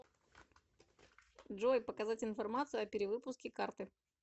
джой показать информацию о перевыпуске карты